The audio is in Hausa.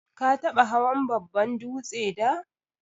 Ka taba hawan babban dūtse da?